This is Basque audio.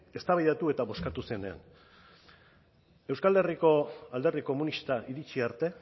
eztabaidatu eta bozkatu zirenean euskal herriko alderdi komunista iritsi arte